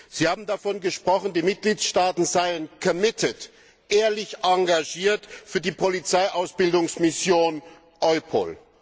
Sie haben davon gesprochen, die Mitgliedstaaten seien ehrlich engagiert für die Polizeiausbildungsmission EUPOL.